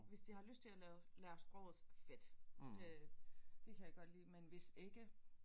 Hvis de har lyst til at lave lære sproget så fedt det det kan jeg godt lide men hvis ikke